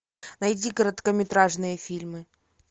найди короткометражные фильмы